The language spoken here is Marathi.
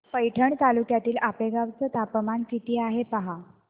पैठण तालुक्यातील आपेगाव चं तापमान किती आहे पहा